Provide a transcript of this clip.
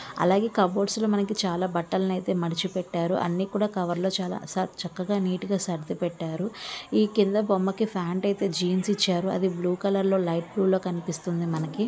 అలాగే కప్‌బోర్డ్స్ లో మనకు చాలా బట్టలని అయితే మడిచి పెట్టారు. అన్ని కూడా కవర్ లో చాలా చా చక్కగా నీట్ గా సర్దిపెట్టారు. ఈ కింద బొమ్మకి ప్యాంట్ అయితే జీన్స్ ఇచ్చారు. అది బ్లూ కలర్లో లైట్ బ్లూ లో కనిపిస్తుంది మనకి.